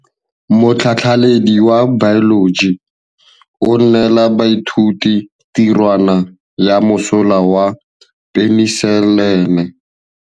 Motlhatlhaledi wa baeloji o neela baithuti tirwana ya mosola wa peniselene.